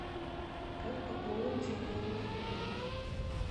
как пополнить телефон моего друга